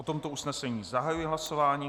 O tomto usnesení zahajuji hlasování.